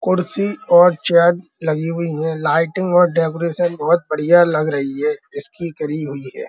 कुर्सी और चेयर लगी हुई है लाइटिंग और डेकोरेशन बहुत बढ़िया लग रही है इसकी करी हुई है।